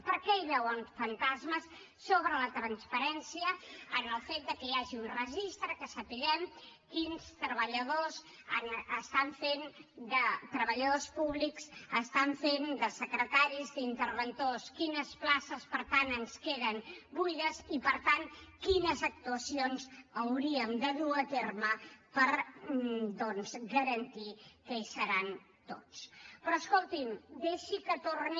per què hi veuen fantasmes sobre la transparència en el fet que hi hagi un registre perquè sapiguem quins treballadors públics estan fent de secretaris i d’interventors quines places per tant ens queden buides i per tant quines actuacions hauríem de dur a terme per garantir que hi seran tots però escolti’m deixi que torni